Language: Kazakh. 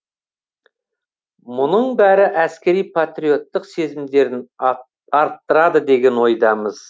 мұның бәрі әскери патриоттық сезімдерін арттырады деген ойдамыз